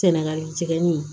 Sɛnɛgali jigɛni